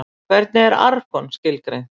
Hvernig er argon skilgreint?